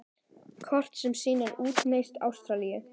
Kort sem sýnir útnes Ástralíu.